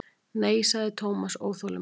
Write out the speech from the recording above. Nei sagði Thomas óþolinmóður.